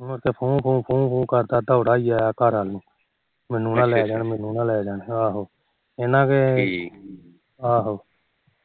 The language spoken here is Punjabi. ਉਹ ਤੇ ਫੂ ਫੂ ਕਰਦਾ ਦੋੜਾ ਆਇਆ ਘਰਾ ਨੂੰ ਮੈਨੂੰ ਨਾ ਲੈ ਜਾਣ ਮੈਨੂੰ ਨਾ ਲੈ ਜਾਣ ਠੀਕ